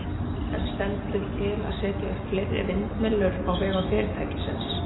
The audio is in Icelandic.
En stendur til að setja upp fleiri vindmyllur á vegum fyrirtækisins?